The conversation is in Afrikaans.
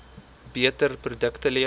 beter produkte lewer